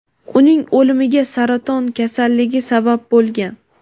uning o‘limiga saraton kasalligi sabab bo‘lgan.